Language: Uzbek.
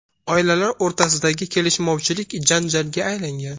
Oilalar o‘rtasidagi kelishmovchilik janjalga aylangan.